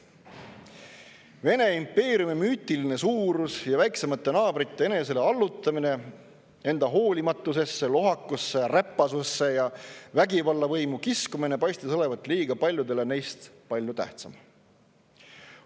Vene impeeriumi müütiline suurus ja väiksemate naabrite enesele allutamine, enda hoolimatusesse, lohakusse, räpasusse ja vägivallavõimu kiskumine paistis olevat liiga paljudele neist palju tähtsam.